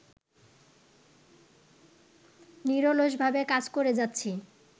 নিরলসভাবে কাজ করে যাচ্ছি